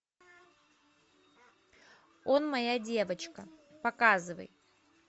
он моя девочка показывай